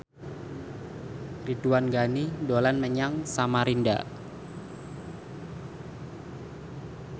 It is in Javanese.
Ridwan Ghani dolan menyang Samarinda